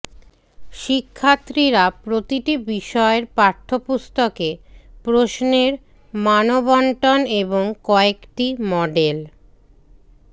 শিক্ষার্থীরা প্রতিটি বিষয়ের পাঠ্যপুস্তকে প্রশ্নের মানবণ্টন এবং কয়েকটি মডেল